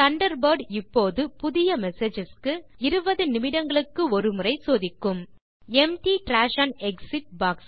Thunderbird இப்போது புதிய messages க்கு 20 நிமிடங்களுக்கு ஒரு முறை சோதிக்கும் எம்ப்டி டிராஷ் ஒன் எக்ஸிட்